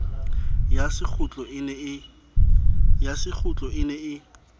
ya sekgutlo e ne e